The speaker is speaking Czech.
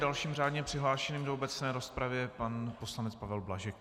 Dalším řádně přihlášeným do obecné rozpravy je pan poslanec Pavel Blažek.